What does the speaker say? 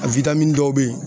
A dɔw be yen